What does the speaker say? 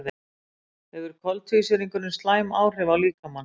Hefur koltvísýringurinn slæm áhrif á líkamann?